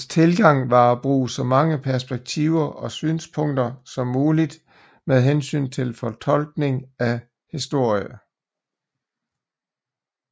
Hans tilgang var at bruge så mange perspektiver og synspunkter som muligt med hensyn til fortolkning af historie